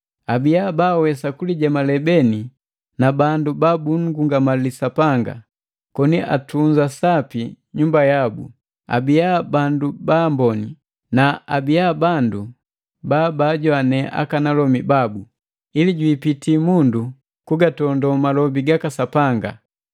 abiya baawesa kulijemale beni na bandu babunngungamali Sapanga, koni atunza sapi nyumba yabu, abia bandu baamboni na abiaa bandu babaajoane aka alomi babu, ili jwiipiti mundu kugatondo malobi gaka Sapanga.